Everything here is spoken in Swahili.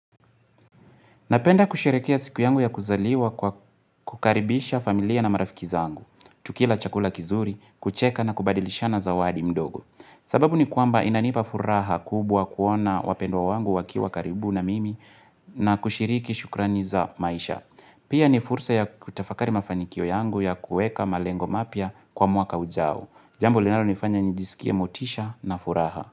Napenda kusherekea siku yangu ya kuzaliwa kwa kukaribisha familia na marafikiza angu. Tukila chakula kizuri, kucheka na kubadilishana zawadi mdogo. Sababu ni kuamba inanipa furaha kubwa kuona wapendwa wangu wakiwa karibu na mimi na kushiriki shukrani za maisha. Pia ni fursa ya kutafakari mafanikio yangu ya kueka malengo mapya kwa mwaka ujao. Jambo linalo nifanya nijisikia motisha na furaha.